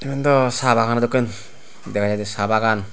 iyendw saa baganow dokken dega jaidey sa bagan.